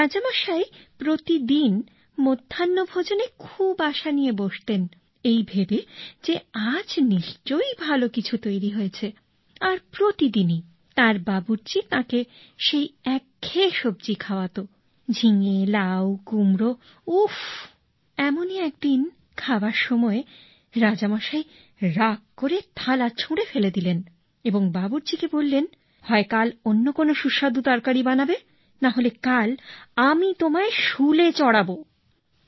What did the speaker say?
রাজামশাই প্রতিদিন মধ্যাহ্নভোজনে খুব আশা নিয়ে বসতেন এই ভেবে যে আজ নিশ্চয়ই ভালো কিছু তৈরি হয়েছে আর প্রতিদিনই তাঁর বাবুর্চি তাঁকে সেই একঘেয়ে সব্জি খাওয়াত ঝিঙে লাউ কুমড়ো চালকুমড়ো উফফ এমনই একদিন খাওয়ার সময় রাজামশাই রাগ করে থালা ছুঁড়ে ফেলে দিলেন এবং বাবুর্চিকে আদেশ দিলেন হয় কাল অন্য কোন সুস্বাদু তরকারি বানাবে না হলে কাল আমি তোমায় শুলে চড়াবো